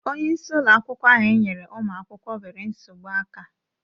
Onye isi ụlọ akwụkwọ ahụ enyere ụmụ akwụkwọ nwere nsogbu aka.